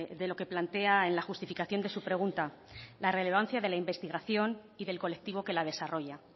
de lo que plantea en la justificación de su pregunta la relevancia de la investigación y del colectivo que la desarrolla